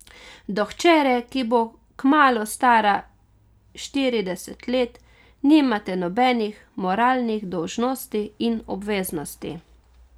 Do hčere, ki bo kmalu stara štirideset let, nimate nobenih moralnih dolžnosti in obveznosti.